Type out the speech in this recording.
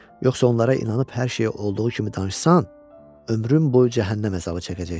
Yoxsa onlara inanıb hər şeyi olduğu kimi danışsan, ömrün boyu cəhənnəm əzabı çəkəcəksən.